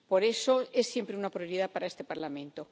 Por eso, es siempre una prioridad para este Parlamento.